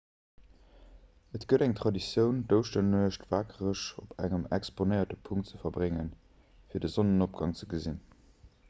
et gëtt eng traditioun d'ouschternuecht wakereg op engem exponéierte punkt ze verbréngen fir de sonnenopgang ze gesinn